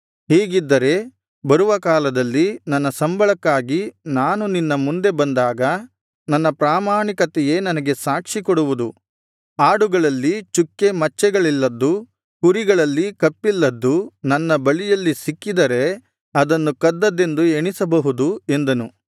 ಹೀಗಿದ್ದರೆ ಬರುವ ಕಾಲದಲ್ಲಿ ನನ್ನ ಸಂಬಳಕ್ಕಾಗಿ ನಾನು ನಿನ್ನ ಮುಂದೆ ಬಂದಾಗ ನನ್ನ ಪ್ರಾಮಾಣಿಕತೆಯೇ ನನಗೆ ಸಾಕ್ಷಿ ಕೊಡುವುದು ಆಡುಗಳಲ್ಲಿ ಚುಕ್ಕೆ ಮಚ್ಚೆಗಳಿಲ್ಲದ್ದು ಕುರಿಗಳಲ್ಲಿ ಕಪ್ಪಿಲ್ಲದ್ದು ನನ್ನ ಬಳಿಯಲ್ಲಿ ಸಿಕ್ಕಿದರೆ ಅದನ್ನು ಕದ್ದದ್ದೆಂದು ಎಣಿಸಬಹುದು ಎಂದನು